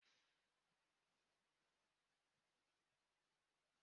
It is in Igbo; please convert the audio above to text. Aga m eburu nshi gaa n'ụlọ nyocha